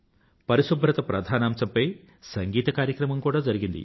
పరిశుభ్రత ప్రధానాంశం పై సంగీట కార్యక్రమం కూడా జరిగింది